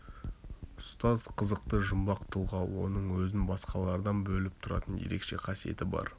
ұстаз қызықты жұмбақ тұлға оның өзін басқалардан бөліп тұратын ерекше қасиеті бар